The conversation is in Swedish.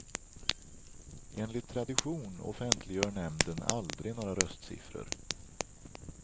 Enligt tradition offentliggör nämnden aldrig några röstsiffror.